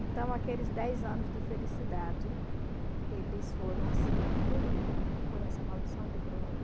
Então, aqueles dez anos de felicidade, eles foram assim, engolido por essa maldição de droga.